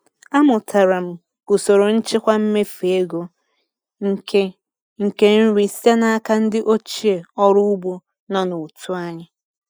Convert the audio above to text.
Amụtara m usoro nchịkwa mmefu ego nke nke nri site n'aka ndị ochie ọrụ ugbo nọ n'otu anyị.